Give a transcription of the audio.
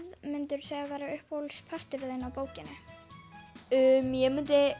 myndirðu segja að væri uppáhalds parturinn þinn af bókinni ég myndi